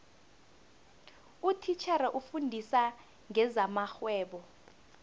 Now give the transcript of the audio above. utitjhere ofundisa ngezamarhwebo